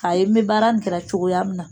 K'a ye n bɛ baara in kɛra cogoya min na